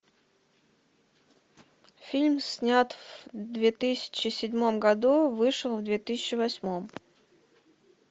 фильм снят в две тысячи седьмом году вышел в две тысячи восьмом